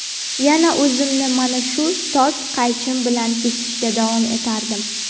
yana o‘zimni mana shu tok qaychim bilan kesishda davom etardim.